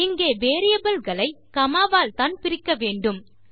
இங்கே வேரியபிள் களை காமா வால்தான் பிரிக்க வேண்டும்